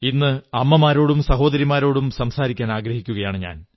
ഇന്ന് അമ്മമാരോടും സഹോദരിമാരോടും സംസാരിക്കാനാഗ്രഹിക്കുന്നു